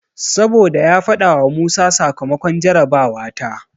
Saboda ya faɗawa Musa sakamakon jarabawa ta.